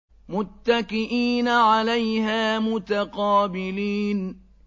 مُّتَّكِئِينَ عَلَيْهَا مُتَقَابِلِينَ